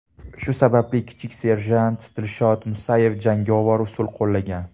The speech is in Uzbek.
Shu sababli kichik serjant Dilshod Musayev jangovar usul qo‘llagan.